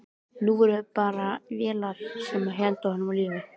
Nú voru það bara vélarnar sem héldu í honum lífinu.